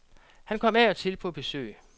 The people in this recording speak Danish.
Han kom af og til på besøg.